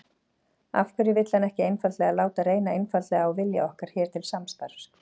Af hverju vill hann ekki einfaldlega láta reyna einfaldlega á vilja okkar hér til samstarfs?